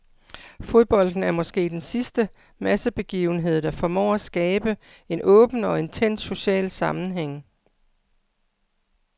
Fodbolden er måske den sidste massebegivenhed, der formår at skabe en åben og intens social sammenhæng.